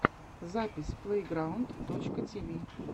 запись плэйграунд точка тиви